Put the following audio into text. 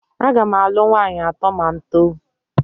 Aga m alụ nwaanyị atọ ma m too